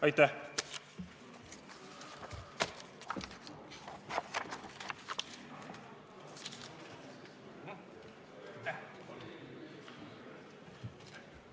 Aitäh!